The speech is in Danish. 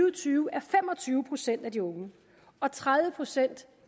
og tyve er fem og tyve procent af de unge og tredive procent